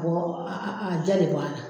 Karamɔgɔ a a diya de bana.